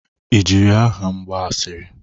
I jiri aha m gba asịrị?